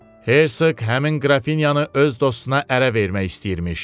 Hersoq həmin qrafinyanı öz dostuna ərə vermək istəyirmiş.